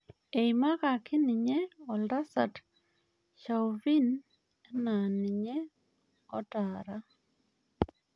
Eimakaki ninye oltasat Chauvin enaa ninye otaara